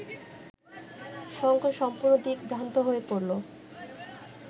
শঙ্কর সম্পূর্ণ দিকভ্রান্ত হয়ে পড়ল